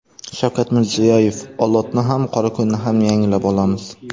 Shavkat Mirziyoyev: Olotni ham, Qorako‘lni ham yangilab olamiz.